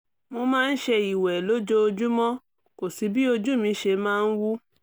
mo máa ń ṣe ìwẹ̀ lójoojúmọ́ kò sí bí ojú mi ṣe máa ń wú